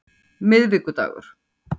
miðvikudagur